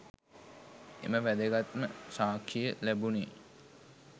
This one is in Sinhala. එම වැදගත්ම සාක්ෂිය ලැබුණේ